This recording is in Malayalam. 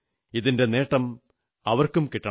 ഇതിന്റെ നേട്ടം അവർക്കു കിട്ടണം